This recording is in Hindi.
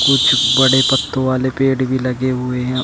कुछ बड़े पत्तों वाले पेड़ भी लगे हुए हैं।